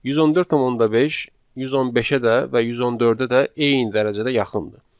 114.5 115-ə də və 114-ə də eyni dərəcədə yaxındır.